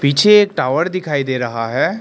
पीछे एक टॉवर दिखाई दे रहा है।